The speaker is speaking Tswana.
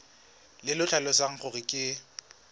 le le tlhalosang gore ke